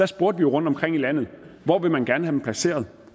spurgte vi rundtomkring i landet hvor man gerne dem placeret